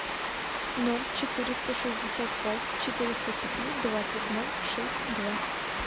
ноль четыреста шестьдесят пять четыреста три двадцать ноль шесть два